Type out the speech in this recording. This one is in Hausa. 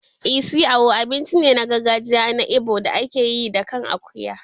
Isi Ewu abinci ne na gargajiya na Igbo da ake yi da kan akuya.